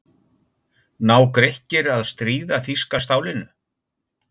Ná Grikkir að stríða þýska stálinu?